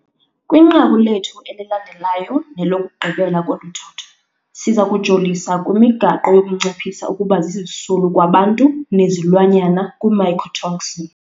Kwinqaku lethu elilandelayo nelokugqibela kolu thotho, siza kujolisa kwimigaqo yokunciphisa ukuba zizisulu kwabantu nezilwanyana kwii-mycotoxin.